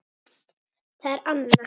Það er Anna.